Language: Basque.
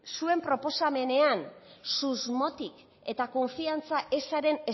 zuen proposamenean susmotik eta konfiantza ezaren